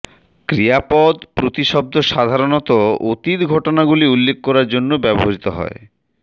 ক্রিয়াপদ প্রতিশব্দ সাধারণত অতীত ঘটনাগুলি উল্লেখ করার জন্য ব্যবহৃত হয়